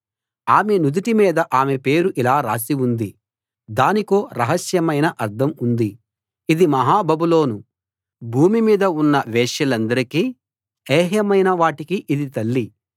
ఆమె నుదుటి మీద ఆమె పేరు ఇలా రాసి ఉంది దానికో రహస్యమైన అర్థం ఉంది ఇది మహా బబులోను భూమి మీద ఉన్న వేశ్యలందరికీ ఏహ్యమైన వాటికీ ఇది తల్లి